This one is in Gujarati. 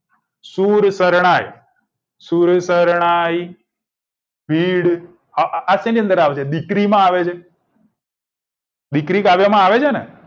શુર શરણાઈ શુર શરણાઈ ભીડ આ શેની અંદર આવશે દીકરીમાં આવે છે દીકરી કાવ્યમાં આવે છેને